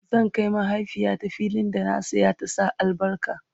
zan Kai mahaifiyata fillin da na saya ta Sa albarka